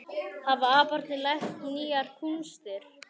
Hafa aparnir lært nýjar kúnstir